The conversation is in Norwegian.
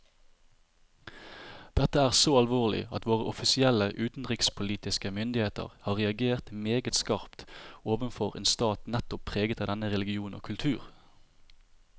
Dette er så alvorlig at våre offisielle utenrikspolitiske myndigheter har reagert meget skarpt overfor en stat nettopp preget av denne religion og kultur.